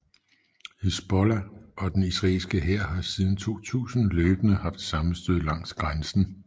Hizbollah og den israelske hær har siden 2000 løbende haft sammenstød langs grænsen